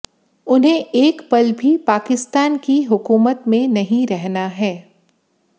उन्हें एक पल भी पाकिस्तान की हुकूमत में नहीं रहना है